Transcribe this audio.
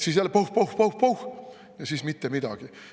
Siis jälle pauh-pauh-pauh ja siis mitte midagi.